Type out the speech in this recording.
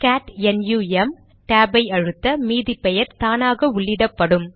gate NUM டேபை அழுத்த மீதி பெயர் தானாக உள்ளிடப்படும்